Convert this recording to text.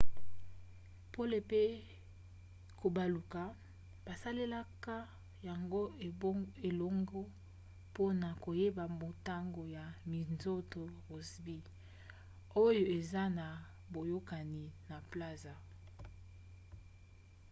pole pe kobaluka basalelaka yango elongo mpona koyeba motango ya minzoto rossby oyo eza na boyokani na plazma